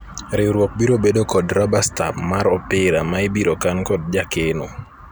riwruok biro bedo kod raba stam mar opira ma ibiro kan kod jakeno